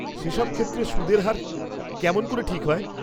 সেসব ক্ষেত্রে সুদের হার কেমন করে ঠিক হয়?